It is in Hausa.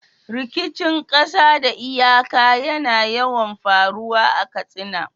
Rikicin ƙasa da iyaka yana yawan faruwa a Katsina.